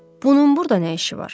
Bunun burda nə işi var?